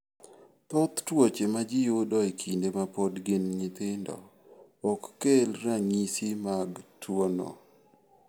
Thoth tuoche ma ji yudo e kinde ma pod gin nyithindo, ok kel ranyisi mag tuwono.